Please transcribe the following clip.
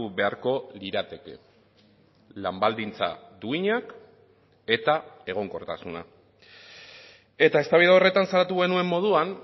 beharko lirateke lan baldintza duinak eta egonkortasuna eta eztabaida horretan salatu genuen moduan